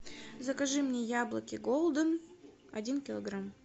закажи мне яблоки голден один килограмм